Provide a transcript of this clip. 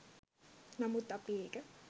නමුත් අපි ඒක